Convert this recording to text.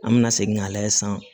An bɛna segin k'a lajɛ sisan